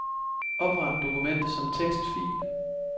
Opret dokument som tekstfil.